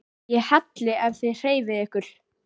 ÉG HELLI EF ÞIÐ HREYFIÐ YKKUR!